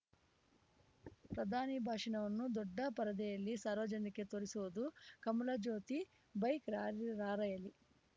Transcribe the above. ಪ್ರಧಾನಿ ಭಾಷಣವನ್ನು ದೊಡ್ಡ ಪರದೆಯಲ್ಲಿ ಸಾರ್ವಜನಿಕರಿಗೆ ತೋರಿಸುವುದು ಕಮಲಜ್ಯೋತಿ ಬೈಕ್‌ ರಾರ‍ಯಲಿ